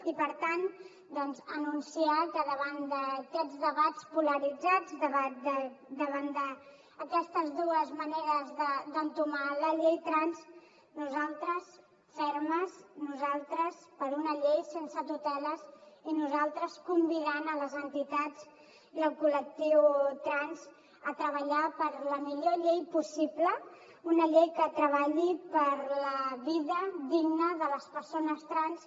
i per tant anunciar que davant d’aquests debats polaritzats davant d’aquestes dues maneres d’entomar la llei trans nosaltres fermes nosaltres per una llei sense tuteles i nosaltres convidant les entitats i el col·lectiu trans a treballar per la millor llei possible una llei que treballi per la vida digna de les persones trans